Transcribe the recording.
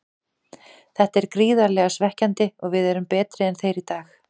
Þetta er gríðarlega svekkjandi og við erum betri en þeir í dag.